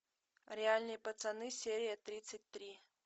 реальные пацаны серия тридцать три